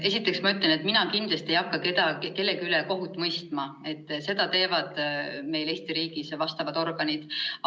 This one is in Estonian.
Esiteks, ma ütlen, et mina kindlasti ei hakka kellegi üle kohut mõistma, seda teevad meil Eesti riigis vastavad organid.